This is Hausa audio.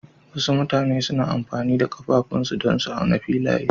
Wasu mutane suna amfani da ƙafafunsu don auna filaye.